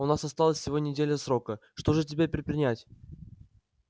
у нас осталась всего неделя срока что же теперь предпринять